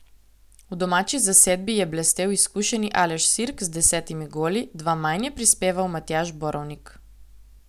V domači zasedbi je blestel izkušeni Aleš Sirk z desetimi goli, dva manj je prispeval Matjaž Borovnik.